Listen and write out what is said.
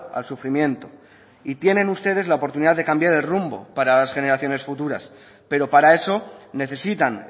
al sufrimiento y tienen ustedes la oportunidad de cambiar el rumbo para las generaciones futuras pero para eso necesitan